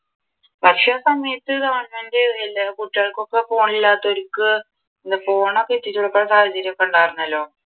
പക്ഷെ ആഹ് സമയത്ത് government എല്ലാ കുട്ടികൾക്ക് ഫോണില്ലാത്തവർക്ക് ഫോണൊക്കെ എത്തിച്ചുകൊടുക്കുന്ന സാഹചര്യം ഒക്കെ ഉണ്ടാരുന്നല്ലോ